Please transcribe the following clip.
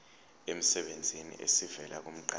emsebenzini esivela kumqashi